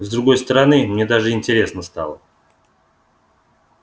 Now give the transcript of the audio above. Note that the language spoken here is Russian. с другой стороны мне даже интересно стало